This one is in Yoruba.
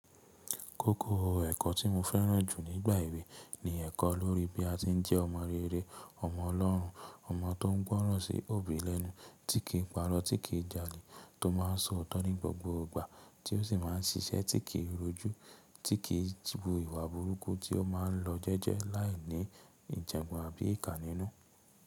Kókó ẹ̀kọ́ tí mo fẹ́ràn jù nígbà èwe ni ẹ̀kọ́ lórí bí a ti ń jẹ́ ọmọ rere, ọmọ Ọlọ́run, ọmọ tó ń gbọ́ràn sí òbí lẹ́nu, tí kìí pa rọ, tí kì í jalè, tó máa ń sọ ọ́tọ́ ní gbogbogbò gbà, tí ó sì máa ń ṣiṣẹ́, tí kì í rojú, tí kìí wu ìwà burúkú, tí ó máa ń lọ jẹ́jẹ́ láìní ìjàǹgban àbí ìkà nínú.